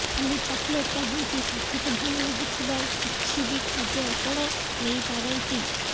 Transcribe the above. ଖାଲି ଚକ୍ଲେଟ୍ କାହିଁକି ସାଥୀଙ୍କୁ ଭଲ ଲାଗୁଥିବା କିିଛି ବି ଖାଦ୍ୟ ଆପଣ ନେଇପାରନ୍ତି